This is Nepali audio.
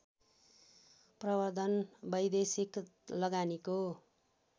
प्रवर्द्धन वैदेशिक लगानीको